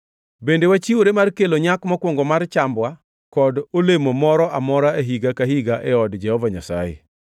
“Bende wachiwore mar kelo nyak mokwongo mar chambwa kod olemo moro amora higa ka higa e od Jehova Nyasaye.